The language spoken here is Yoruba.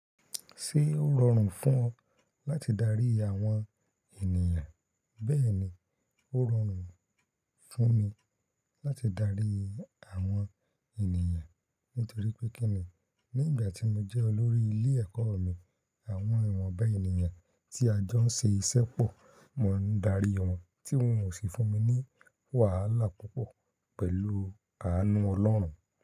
Ṣé ó rọrùn fún ọ láti darí àwọn ènìyàn? Bẹ́ẹ̀ ni, ó rọrùn fún mi láti darí Àwọn ènìyàn nítorí pé kí ni nígbà tí mo jẹ́ olórí ilé-ẹ̀kọ́ mi àwọn ìwọ̀nba ènìyàn tí a jọ ń ṣe iṣẹ́ pọ̀ mo ń darí wọn tí wọ́n ò sì fún mi ní wàhálà púpọ̀ pẹ̀lú àánú Ọlọ́run.